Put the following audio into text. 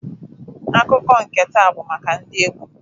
Akụkọ nke taa bụ maka ndị egburu.